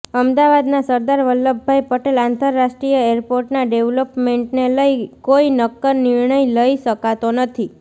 અમદાવાદના સરદાર વલ્લભાઇ પટેલ આંતરરાષ્ટ્રીય એરપોર્ટના ડેવલોપમેન્ટને લઇ કોઇ નક્કર નિર્ણય લઇ શકાતો નથી